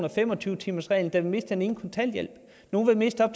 og fem og tyve timersreglen mister den ene kontanthjælp nogle vil miste op